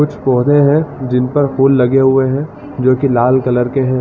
कुछ कोरे है जिन पर फ़ूल लगे हुए है जोकि लाल कलर के हैं |